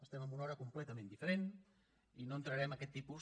estem en una hora completament diferent i no entraré en aquest tipus